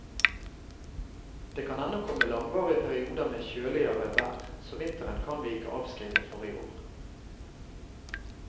Det kan ennå komme langvarige perioder med kjøligere vær, så vinteren kan vi ikke avskrive for i år.